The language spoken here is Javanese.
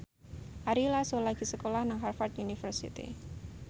Ari Lasso lagi sekolah nang Harvard university